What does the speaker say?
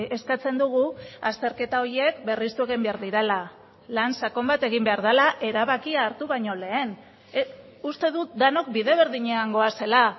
eskatzen dugu azterketa horiek berristu egin behar direla lan sakon bat egin behar dela erabakia hartu baino lehen uste dut denok bide berdinean goazela